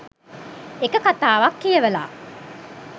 එක කතාවක් කියවල